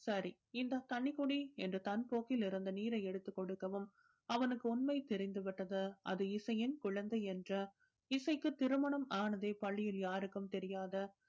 சரி இந்தா தண்ணி குடி என்று தன் கோப்பையில் இருந்த நீரை எடுத்துக் கொடுக்கவும் அவனுக்கு உண்மை தெரிந்து விட்டது அது இசையின் குழந்தை என்று இசைக்கு திருமணம் ஆனதே பள்ளியில் யாருக்கும் தெரியாது